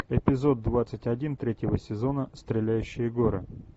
эпизод двадцать один третьего сезона стреляющие горы